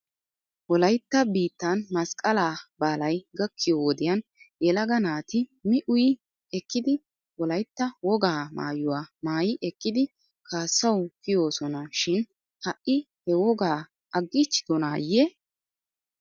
Wolaytta biittan masqqalaa baalay gakkiyoo wodiyan yelaga naati mi uyi ekkidi wolaytta wogaa maayuwaa maayi ekkidi kaassawu kiyoosona shin ha'i he wogaa aggiichchidonaayye?